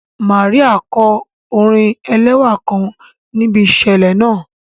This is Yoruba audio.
Màríà kọ orin ẹlẹ́wà kan níbi ìṣẹ̀lẹ̀ náà